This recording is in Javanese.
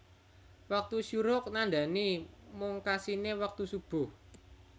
Wektu syuruq nandhani mungkasiné wektu Shubuh